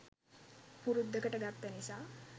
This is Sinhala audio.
පුරුද්දකට ගත්ත නිසා